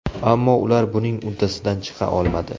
Ammo ular buning uddasidan chiqa olmadi.